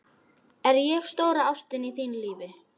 Er ég stóra ástin í þínu lífi?